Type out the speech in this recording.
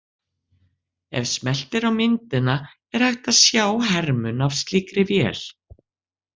Ef smellt er á myndina er hægt að sjá hermun af slíkri vél.